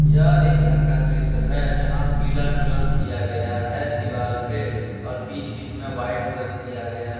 यह एक घर का चित्र है। जहां पीला कलर किया गया है दीवाल पे और पीच पीच में वाइट कलर किया गया है ।